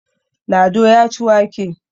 Lado ya ci wake.